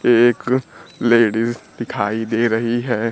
एक लेडीज दिखाई दे रही है।